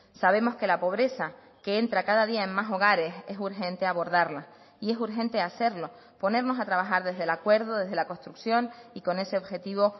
sabemos que la pobreza que entra cada día en más hogares es urgente abordarla y es urgente hacerlo ponernos a trabajar desde el acuerdo desde la construcción y con ese objetivo